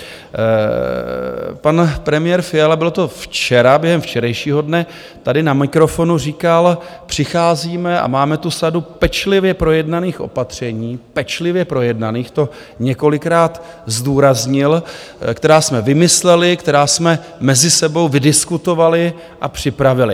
Pan premiér Fiala, bylo to včera, během včerejšího dne tady na mikrofonu říkal: přicházíme a máme tu sadu pečlivě projednaných opatření, pečlivě projednaných, to několikrát zdůraznil, která jsme vymysleli, která jsme mezi sebou vydiskutovali a připravili.